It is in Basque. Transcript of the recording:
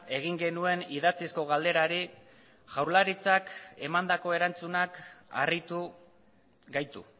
egin genuen idatzizko galderari jaurlaritzak emandako erantzunak harritu gaitu